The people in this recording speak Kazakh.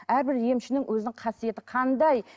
әрбір емшінің өзінің қасиеті қандай